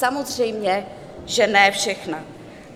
Samozřejmě že ne všechna.